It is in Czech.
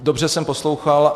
Dobře jsem poslouchal.